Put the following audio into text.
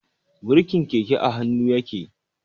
Birkin keke a hannu yake.